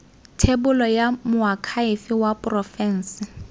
thebolo ya moakhaefe wa porofense